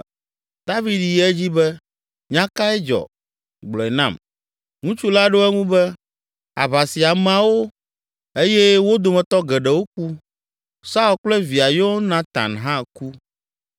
David yi edzi be, “Nya kae dzɔ? Gblɔe nam.” Ŋutsu la ɖo eŋu be, “Aʋa si ameawo eye wo dometɔ geɖewo ku. Saul kple via Yonatan hã ku.”